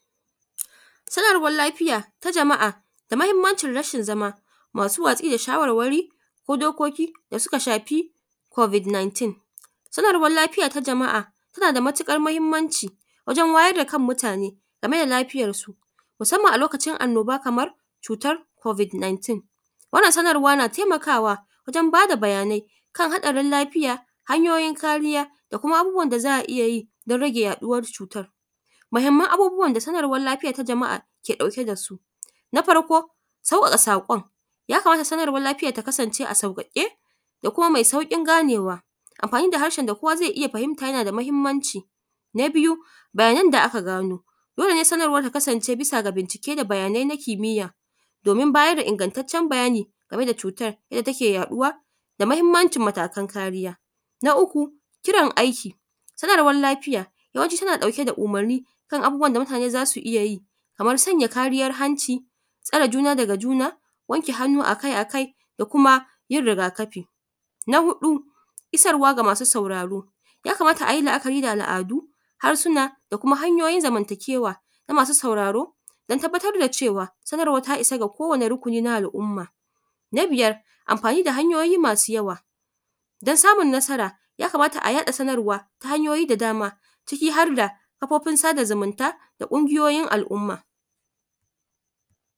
Sanarwan lafiya ta jama'a da mahimmancin rashin zama masu watsi da shawarwari ko dokoki da suka shafi kobik nintin. Sanarwan lafiya ta jama'a tanada matuƙar mahimmanci wajen wayar da kan mutane game da lafiyan su musamman lokacin annoba kamar cutar kobik nintin, wannan sanar na taimakawa wajen bada baya nai. Hanyoyin kariya da Kuma abubuwan da za'a iyya yi dan rage yaduwar cutan. Mahimman abubuwan da Sanarwan ta jama'a ke ɗauke dasu. Na farko sauka ka sakon sanarwan lafiya ta zama a sauƙa ƙe da kuma mai sauƙin ganewa. Amfani da harshen da kowa zai iyya fahinta yanada matuƙar mahimmanci. Na biyu bayan da aka gano dole sanarwan ta kasance bisaga bayani da kuma bincike na kimiya domin bayar da ingattatcen bayani game da cutar da take yaɗuwa da mahimmancin matakan kariya. Na uku Irin aiki sanarwan lafiya wayancin ta ɗauke da umurni kan abubuwan da mutane zasu iyya yi kamar sanya kariya hanci, tsare juna daga juna, wanke hannu akai akai da kuma yin riga kafi. Na hudu isarwa ga masu sauraro yakamata ayi la'akari da al'adu, harsuna da kuma hanyoyin zamanta kewa na masu sauraro dan tabbatar da cewa sanarwan ta issa ga kowani rukuni na al umma. Na biyar amfani da hanyoyi masu yawa dan samun masara yakamata a yaɗa sanar ta hanyoyi da dama ciki harda kafofin sada zumunta da kungiyoyin al umma.